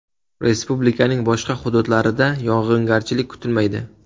Respublikaning boshqa hududlarida yog‘ingarchilik kutilmaydi.